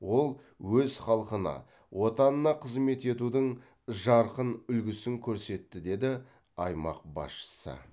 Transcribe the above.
ол өз халқына отанына қызмет етудің жарқын үлгісін көрсетті деді аймақ басшысы